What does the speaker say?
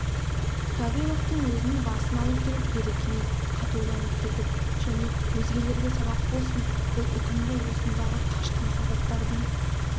гавриловтың өзінің басын алу керек деді кенет қатуланып кетіп және өзгелерге сабақ болсын бұл үкімді осындағы қашқын солдаттардың